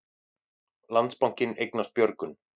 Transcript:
Landsbankinn eignast Björgun